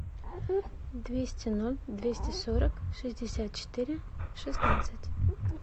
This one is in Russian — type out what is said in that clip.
двести ноль двести сорок шестьдесят четыре шестнадцать